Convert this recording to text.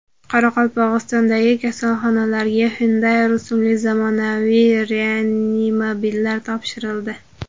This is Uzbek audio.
Qoraqalpog‘istondagi kasalxonalarga Hyundai rusumli zamonaviy reanimobillar topshirildi.